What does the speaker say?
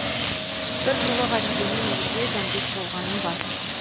бір жолы ғабиденнің үйінде дәмдес болғаным бар